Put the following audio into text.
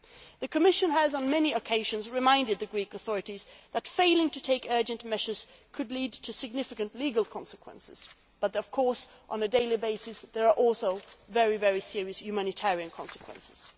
The Commission has on many occasions reminded the Greek authorities that failing to take urgent measures could lead to significant legal consequences, but of course, on a daily basis, there are also very serious humanitarian consequences.